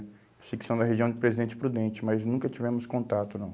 Sei que são da região de Presidente Prudente, mas nunca tivemos contato, não.